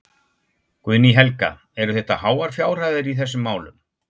Guðný Helga: Eru þetta háar fjárhæðir í þessum málum?